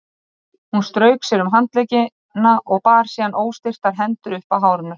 Hún strauk sér um handleggina og bar síðan óstyrkar hendurnar upp að hárinu.